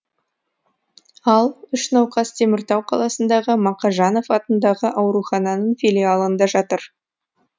ал үш науқас теміртау қаласындағы мақажанов атындағы аурухананың филиалында жатыр